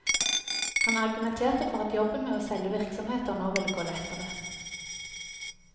Han argumenterte for at jobben med å selge virksomheter nå ville gå lettere.